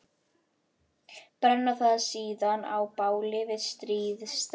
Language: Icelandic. Brenna það síðan á báli við stríðsdans.